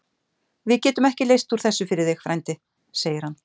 Við getum ekki leyst úr þessu fyrir þig, frændi segir hann.